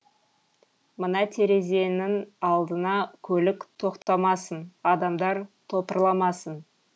мына терезенің алдына көлік тоқтамасын адамдар топырламасын